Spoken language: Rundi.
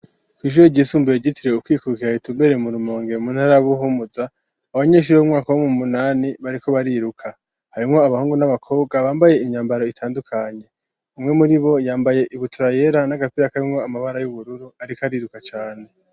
Kw'ishure ryisumbuye ryitiriwe ukwikukira ritumbereye mu Rumonge mu ntara Buhumuza, abanyenshure bo mu mwaka w'umunani bariko bariruka, harimwo abahungu n'abakobwa bambaye imyambaro itandukanye, umwe muri bo yambaye ibutura yera n'agapira karimwo amabara y'ubururu, ariko ariruka cane.